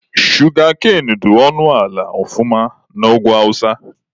Shugakain dị ọnụ ala ọfụma na Ugwu awụsa.